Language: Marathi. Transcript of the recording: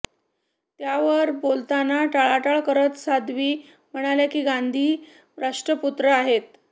त्यावर बोलताना टाळाटाळ करत साध्वी म्हणाल्या की गांधी राष्ट्रपुत्र आहेत